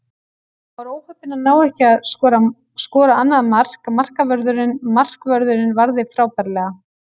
Hann var óheppinn að ná ekki að skora annað mark, markvörðurinn varði frábærlega.